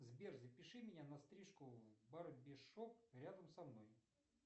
сбер запиши меня на стрижку в барбершоп рядом со мной